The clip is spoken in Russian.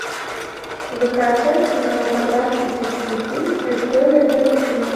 закачай кинематографический фильм история дельфина